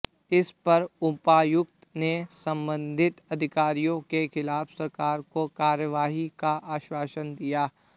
इस पर उपायुक्त ने संबधित अधिकारियों के खिलाफ सरकार को कार्यवाही का आश्वासन दिया